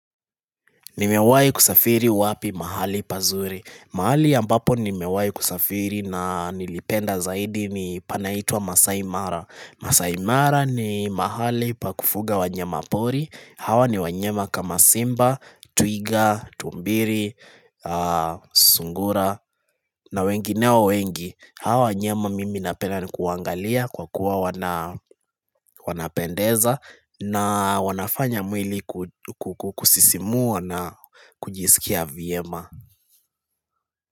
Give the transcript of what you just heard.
Nimewai kusafiri wapi mahali pazuri mahali ambapo nimewai kusafiri na nilipenda zaidi ni panaitwa Masaimara Masaimara ni mahali pakufuga wanyama pori Hawa ni wanyama kama simba, twiga, tumbiri, sungura na wengineo wengi Hawa wa nyama mimi napenda ni kuwaangalia kwa kuwa wanapendeza na wanafanya mwili kukusisimua na kujisikia vyema.